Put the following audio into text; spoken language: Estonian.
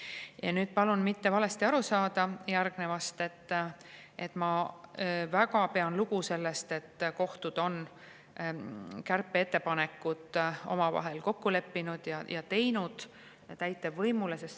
Ja nüüd palun minust mitte valesti aru saada: ma väga pean lugu sellest, et kohtud on kärpeettepanekud omavahel kokku leppinud ja esitanud need täitevvõimule.